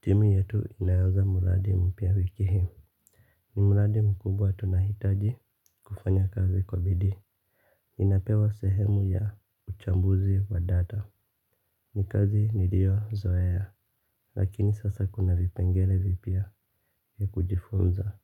Timu yetu inaanza muradi mpya wiki himu. Ni muradi mkubwa tunahitaji kufanya kazi kwa bidii. Ninapewa sehemu ya uchambuzi wa data. Ni kazi nirio zoea. Lakini sasa kuna vipengele vipya vya kujifunza.